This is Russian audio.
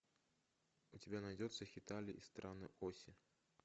у тебя найдется хеталия и страны оси